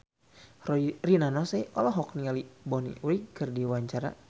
Rina Nose olohok ningali Bonnie Wright keur diwawancara